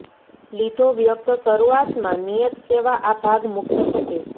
લીધો વ્યક્ત શરૂઆતમાં નિયત સેવા આ ભાગ મુક્ત થશે